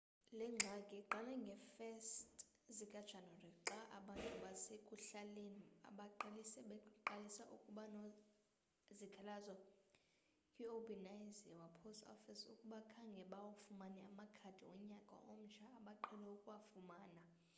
le ngxaki iqale ngee-1 zikajanuwari xa abantu basekuhlaleni abaliqela beqalise ukubanezikhalazo kwi-obanazawa post office ukuba khange bawafumane amakhadi onyaka omtsha abaqhele ukuwafumana